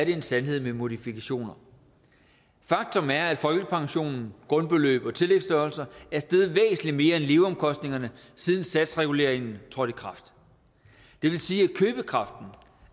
en sandhed med modifikationer faktum er at folkepensionen grundbeløb og tillægsstørrelser er steget væsentlig mere end leveomkostninger siden satsreguleringen trådte i kraft det vil sige